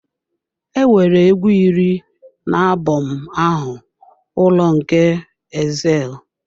Enwere egwu iri na album ahụ, Ụlọ nke Exile.